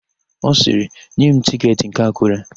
Ọ sịrị, "nye m tịketị nke Akụre"!